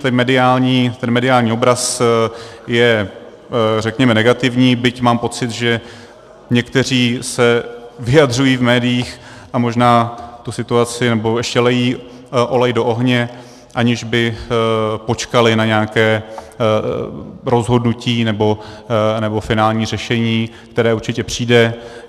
Ten mediální obraz je, řekněme, negativní, byť mám pocit, že někteří se vyjadřují v médiích a možná tu situaci... nebo ještě lijí olej do ohně, aniž by počkali na nějaké rozhodnutí nebo finální řešení, které určitě přijde.